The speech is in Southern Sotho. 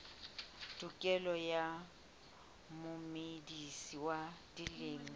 tokelo ya momedisi wa dimela